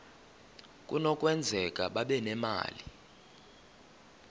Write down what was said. kunokwenzeka babe nemali